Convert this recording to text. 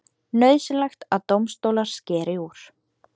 Nauðsynlegt að dómstólar skeri úr